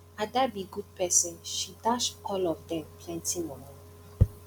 ada be good person she dash all of dem plenty money